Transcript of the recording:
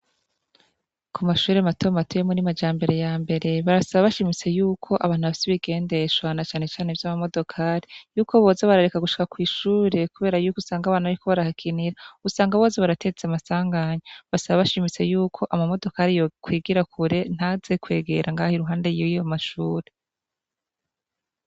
Ku mashure matomato yo muri majambere ya mbere, barasaba bashimitse y'uko abantu bafise ibigendeshwa na cane cane vy'amanodokari, y'uko boza barareka gushika kw'ishure kubera y'uko usanga abana baza barahakinira, usanga boza barateza amasanganya. Basaba bashimitse y'uko amamodokari yokwigira kure ntaze kwegera impande y'ayo mashure.